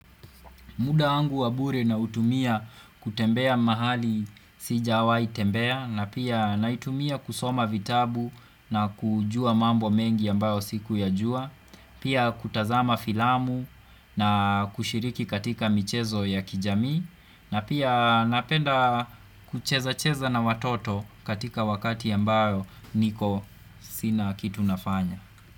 Muda wangu wa bure nautumia kutembea mahali sijawai tembea na pia naitumia kusoma vitabu na kujua mambo mengi ambayo sikuyajua. Pia kutazama filamu na kushiriki katika michezo ya kijami na pia napenda kucheza cheza na watoto katika wakati ambayo niko sina kitu nafanya.